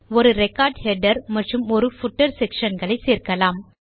ஒரு record header மற்றும் ஒரு பூட்டர் செக்ஷன் களை சேர்க்கலாம்